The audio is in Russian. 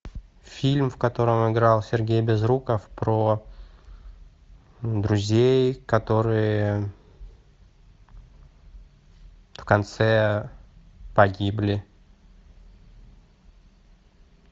фильм в котором играл сергей безруков про друзей которые в конце погибли